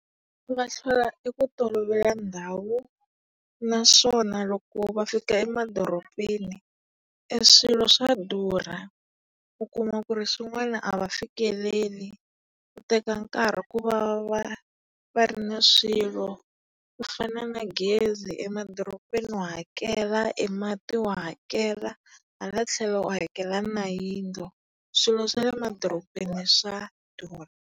Va hlwela eku tolovela ndhawu naswona loko va fika emadorobeni, e swilo swa durha. U kuma ku ri swin'wana a va fikeleli, ku teka nkarhi kuva va va ri na swilo, ku fana na gezi emadorobeni wa hakela, e mati wa hakela, hala tlhelo wa hakela na yindlo. Swilo swa le madorobeni swa durha.